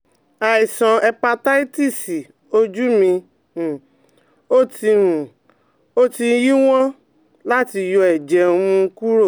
Àìsàn hẹ́pátíìsì OJÚ MẸ́ um O TI um O TI YÍ WÁN láti yọ ẹ̀jẹ̀ um kúrò?